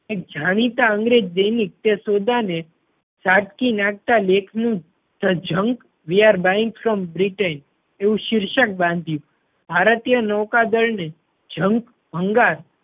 જાણીતા અંગ્રેજ દૈનિક તે સોદા ને ઝાટકી નાખતા લેખ નું the junk we are buying from britain એવું શીર્ષક બાંધ્યું. ભારતીય નૌકા દળ ને junk ભંગાર